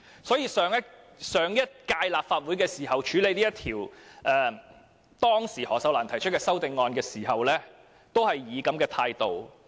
所以，當上屆立法會處理當時由何秀蘭議員提出的修正案時，政府也是採取這種態度。